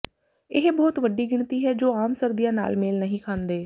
ਇਹ ਬਹੁਤ ਵੱਡੀ ਗਿਣਤੀ ਹੈ ਜੋ ਆਮ ਸਰਦੀਆਂ ਨਾਲ ਮੇਲ ਨਹੀਂ ਖਾਂਦੇ